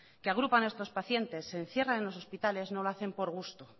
que agrupan a estos pacientes se encierran en los hospitales no lo hacen por gusto